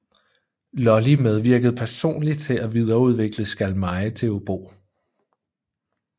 Lully medvirkede personlig til at videreudvikle skalmeje til obo